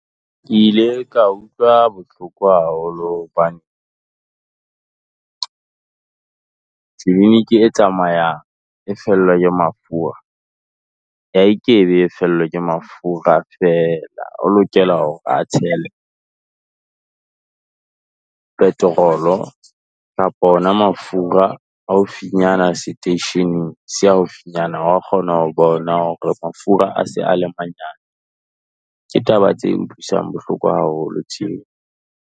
Ke ile ka utlwa bohloko haholo hobane e tsamayang, e fellwa ke mafura, ha a kebe fellwe ke mafura feela, o lokela hore a tshele petrol-o kapa ona mafura haufinyana seteisheneng se haufinyana, O a kgona ho bona hore mafura a se a le manyane. Ke taba tse utlwisang bohloko haholo tseo.